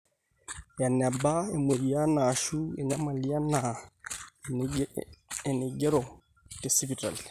eneba emweyian aashu enyamali enaa enaigerro tesipitali